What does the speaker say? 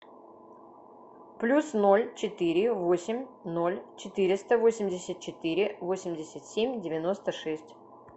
плюс ноль четыре восемь ноль четыреста восемьдесят четыре восемьдесят семь девяносто шесть